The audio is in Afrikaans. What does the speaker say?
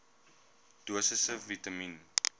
dosisse vitamien